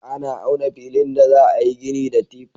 Ana auna filin da za a yi gini da tif.